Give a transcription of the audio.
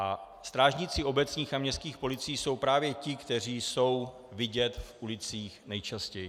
A strážníci obecních a městských policií jsou právě ti, kteří jsou vidět v ulicích nejčastěji.